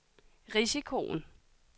risikoen